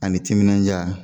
Ani timinandiya